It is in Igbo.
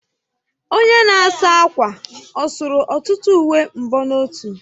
Onye na-asa ákwà ọ sụrụ ọtụtụ uwe mbonotu?